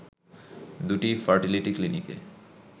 দু’টি ফার্টিলিটি ক্লিনিকে